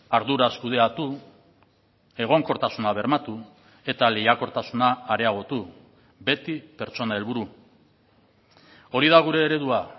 arduraz kudeatu egonkortasuna bermatu eta lehiakortasuna areagotu beti pertsona helburu hori da gure eredua